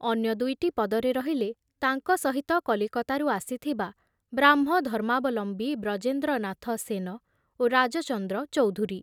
ଅନ୍ୟ ଦୁଇଟି ପଦରେ ରହିଲେ ତାଙ୍କ ସହିତ କଲିକତାରୁ ଆସିଥିବା ବ୍ରାହ୍ମ ଧର୍ମାବଲମ୍ବୀ ବ୍ରଜେନ୍ଦ୍ରନାଥ ସେନ ଓ ରାଜଚନ୍ଦ୍ର ଚୌଧୁରୀ।